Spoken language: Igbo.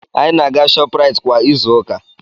Anyị na-aga Shopuraiti kwa izu ụka.